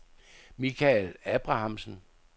Michael Abrahamsen